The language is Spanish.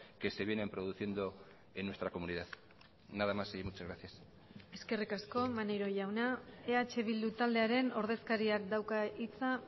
que se vienen produciendo en nuestra comunidad nada más y muchas gracias eskerrik asko maneiro jauna eh bildu taldearen ordezkariak dauka hitza